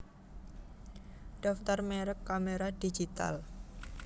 Daftar merek kamera digital